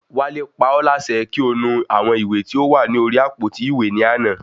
Wale pa ọ́ láṣẹ kí o nu àwọn ìwé tí ó wà ní orí àpótí ìwé ní àná